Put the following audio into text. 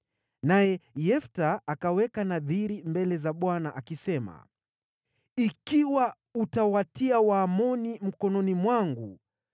Naye Yefta akaweka nadhiri mbele za Bwana akisema, “Ikiwa utawatia Waamoni mikononi mwangu,